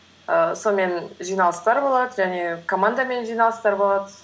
ііі сонымен жиналыстар болады және командамен жиналыстар болады